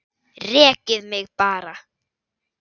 Rekið mig bara!